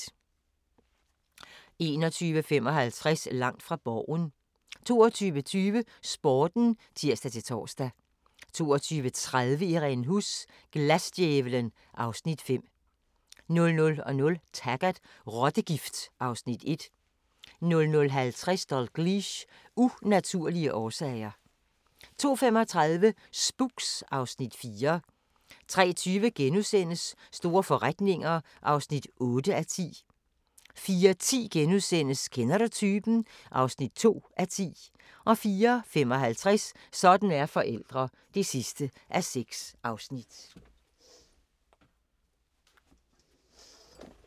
21:55: Langt fra Borgen 22:20: Sporten (tir-tor) 22:30: Irene Huss: Glasdjævlen (Afs. 5) 00:00: Taggart: Rottegift (Afs. 1) 00:50: Dalgliesh: Unaturlige årsager 02:35: Spooks (Afs. 4) 03:20: Store forretninger (8:10)* 04:10: Kender du typen? (2:10)* 04:55: Sådan er forældre (6:6)